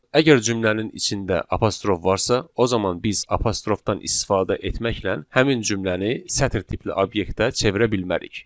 Əgər cümlənin içində apostrof varsa, o zaman biz apostrofdan istifadə etməklə həmin cümləni sətr tipli obyektə çevirə bilmərik.